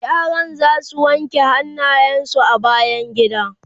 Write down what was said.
yaran zasu wanke hannayen su a bayangida